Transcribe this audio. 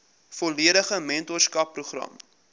volledige mentorskap program